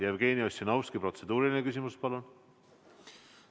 Jevgeni Ossinovski, protseduuriline küsimus, palun!